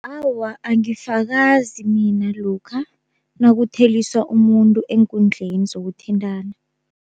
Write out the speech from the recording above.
Awa angifakazi mina lokha nakutheliswa umuntu eenkundleni zokuthintana.